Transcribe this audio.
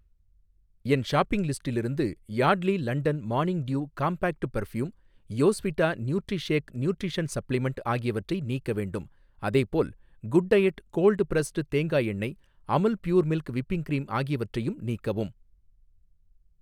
என் shopping லிஸ்டிலிருந்து Yardley London morning dew compact perfume, யோஸ்விட்டா Nutrishake nutrition supplement ஆகியவற்றை நீக்க வேண்டும். அதேபோல், குட் டையட் கோல்ட் பிரஸ்டு தேங்காய் எண்ணெய், Amul pure milk whipping cream ஆகியவற்றையும் நீக்கவும்.